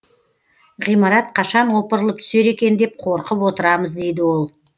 ғимарат қашан опырылып түсер екен деп қорқып отырамыз дейді ол